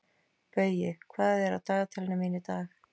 Baui, hvað er í dagatalinu mínu í dag?